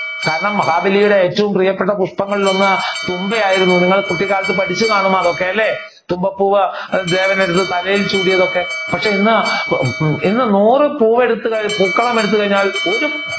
കാരണം മഹാബലിയുടെ ഏറ്റവും പ്രിയപ്പെട്ട പുഷ്പങ്ങളിൽ ഒന്ന് തുമ്പയായിരുന്നു നിങ്ങൾ കുട്ടിക്കാലത്ത് പഠിച്ചുകാണുമല്ലേ അതൊക്കെ അല്ലേ. തുമ്പപ്പൂവ് ദേവൻ എടുത്ത് തലയിൽ ചൂടിയത് ഒക്കെ. പക്ഷെ ഇന്ന് ഇന്ന് നൂർ പൂക്കളം എടുത്ത് കഴിഞ്ഞാൽ ഒരു